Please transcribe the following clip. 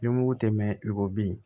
Ni mugu tɛ mɛn i ko bi